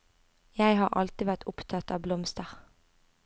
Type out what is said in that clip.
Jeg har alltid vært opptatt av blomster.